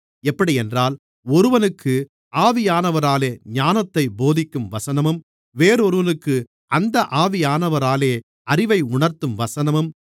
எப்படியென்றால் ஒருவனுக்கு ஆவியானவராலே ஞானத்தைப் போதிக்கும் வசனமும் வேறொருவனுக்கு அந்த ஆவியானவராலேயே அறிவை உணர்த்தும் வசனமும்